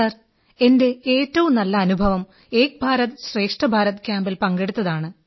sir എന്റെ ഏറ്റവും നല്ല അനുഭവം ഏക് ഭാരത് ശ്രേഷ്ഠ ഭാരത് ക്യാമ്പിൽ പങ്കെടുത്തതാണ്